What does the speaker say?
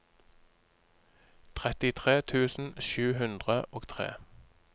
trettitre tusen sju hundre og tre